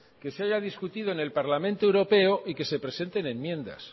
que se haya discutido en el parlamento europeo y que se presenten enmiendas